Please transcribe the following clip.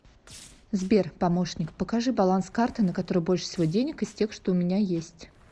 сбер помощник покажи баланс карты на которой больше всего денег из тех что у меня есть